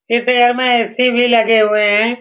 इस एयर में ऐ.सी भी लगे हुए है।